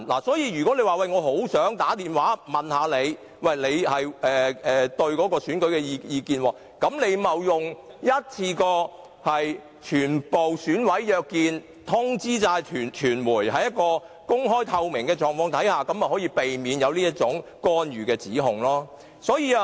所以，如果他們很想知道對方對選舉的意見，便不應該致電個別選委，而是應該一次過約見全部選委，並且通知傳媒，在公開和透明的情況下進行，這樣便可避免這種干預的指控。